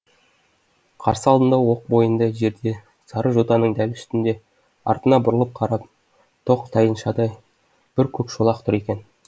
қарсы алдында оқ бойындай жерде сары жотаның дәл үстінде артына бұрылып қарап тоқ тайыншадай бір көк шолақ тұр екен